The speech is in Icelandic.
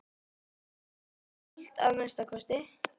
Í kvöld, að minnsta kosti.